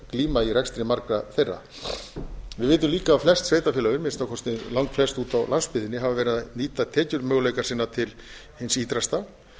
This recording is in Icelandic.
glíma í rekstri margra þeirra við vitum líka að flest sveitarfélögin að minnsta kosti langflest úti á landsbyggðinni hafa verið að nýta tekjumöguleika sína til hins ýtrasta